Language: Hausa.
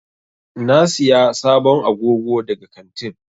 Na Siya sabon agogo daga kantin.